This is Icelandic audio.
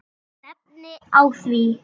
Ég stefni að því.